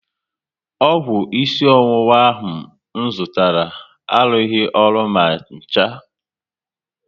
Ọgwụ isi ọwụwa ahụ m zụtara arughi ọrụ ma ncha